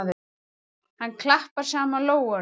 Hann klappar saman lófunum.